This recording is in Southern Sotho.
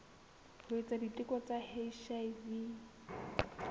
ho etsa diteko tsa hiv